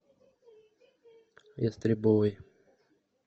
ястребовой